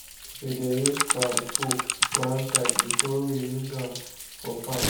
we dey keep fowl poo one side before we use am for farm.